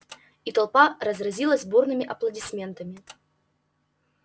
и толпа разразилась бурными аплодисментами